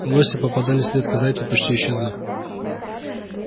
лоси попадались редко зайцы почти исчезли